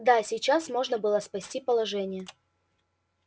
даже сейчас можно было спасти положение